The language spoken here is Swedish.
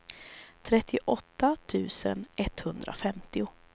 trettioåtta tusen etthundrafemtio